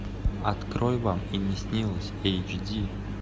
открой вам и не снилось эйч ди